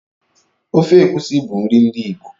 Ofe egusi bụ nri ndi Igbo.